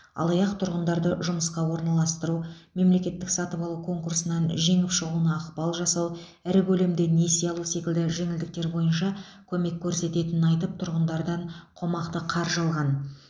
алаяқ тұрғындарды жұмысқа орналастыру мемлекеттік сатып алу конкурсынан жеңіп шығуына ықпал жасау ірі көлемде несие алу секілді жеңілдіктер боынша көмек көрсететінін айтып тұрғындардан қомақты қаржы алған